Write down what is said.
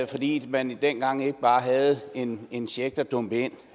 fordi man dengang ikke bare havde en en check der dumpede ind